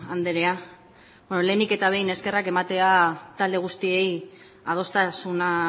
andrea lehenik eta behin eskerrak ematea talde guztiei adostasuna